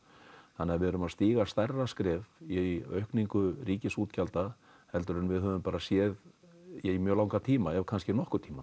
þannig að við erum að stíga stærra skref í aukningu ríkisútgjalda heldur en við höfum bara séð í mjög langan tíma ef kannski nokkurn tímann